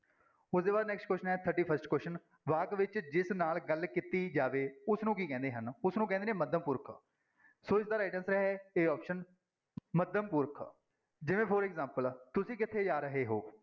ਉਹਦੇ ਬਾਅਦ next question ਹੈ thirty-first question ਵਾਕ ਵਿੱਚ ਜਿਸ ਨਾਲ ਗੱਲ ਕੀਤੀ ਜਾਵੇ ਉਸਨੂੰ ਕੀ ਕਹਿੰਦੇ ਹਨ, ਉਸਨੂੰ ਕਹਿੰਦੇ ਨੇ ਮੱਧਮ ਪੁਰਖ ਸੋ ਇਸਦਾ right answer ਹੈ a option ਮੱਧਮ ਪੁਰਖ, ਜਿਵੇਂ for example ਤੁਸੀਂ ਕਿੱਥੇ ਜਾ ਰਹੇ ਹੋ?